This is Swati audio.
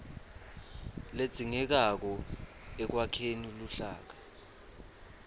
ledzingekako ekwakheni luhlaka